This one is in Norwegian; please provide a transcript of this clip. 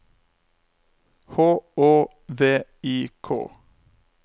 H Å V I K